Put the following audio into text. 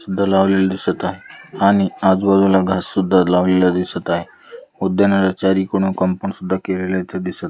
इथ लावलेले दिसत आहे आणि आजू-बाजूला घास सुद्धा लावलेल दिसत आहे. उद्यानाला चारी कडून कंपाऊंड सुद्धा केलेले दिसत--